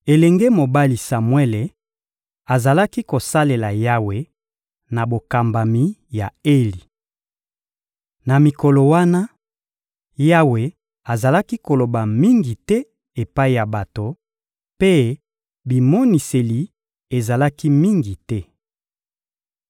Elenge mobali Samuele azalaki kosalela Yawe na bokambami ya Eli. Na mikolo wana, Yawe azalaki koloba mingi te epai ya bato, mpe bimoniseli ezalaki mingi te.